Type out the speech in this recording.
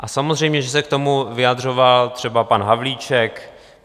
A samozřejmě že se k tomu vyjadřoval třeba pan Havlíček.